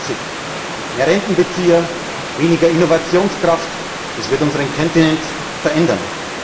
25 Mehr Rentenbezieher, weniger Innovationskraft, das wird unseren Kontinent verändern.